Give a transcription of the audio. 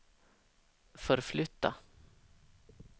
förflytta